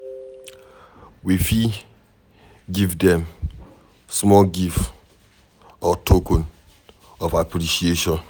We fit give dem small gift or token of appreciation